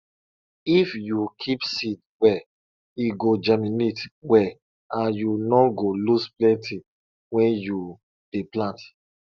if you keep seed well e go germinate well and you no go lose plenty wen you dey plant